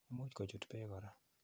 Imuch kochut peek kora.